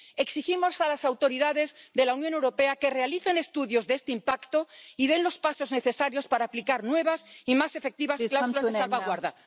Exigimos a las autoridades de la Unión Europea que realicen estudios de este impacto y que den los pasos necesarios para aplicar nuevas y más efectivas cláusulas de salvaguardia.